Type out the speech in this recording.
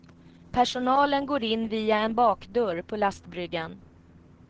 Personalen går in via en bakdörr på lastbryggan.